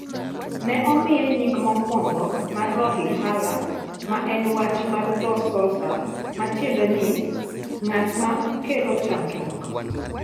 Ne omiye nying mokwongo mar Rolihlahla ma en wach mar dho Xhosa ma tiende en "ng'at ma kelo chandruok",